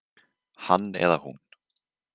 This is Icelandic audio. Hann eða hún